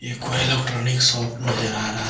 कोई electronic shop नजर आ रहा है।